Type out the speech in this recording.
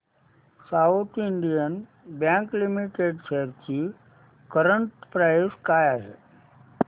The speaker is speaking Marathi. south Indian bank limited shares ची करंट प्राइस काय आहे